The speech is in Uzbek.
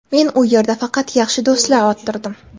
Men u yerda faqat yaxshi do‘stlar orttirdim.